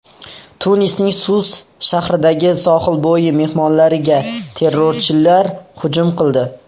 Tunisning Sus shahridagi sohilbo‘yi mehmonxonalariga terrorchilar hujum qildi.